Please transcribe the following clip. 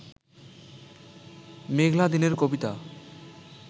মেঘলা দিনের কবিতা